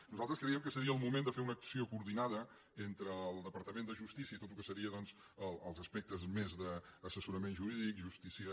nosaltres creiem que seria el moment de fer una acció coordinada entre el departament de justícia i tot el que seria doncs els aspectes més d’assessorament jurídic justícia